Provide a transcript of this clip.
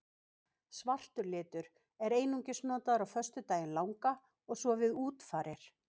Svartur litur er einungis notaður á föstudaginn langa og svo við útfarir.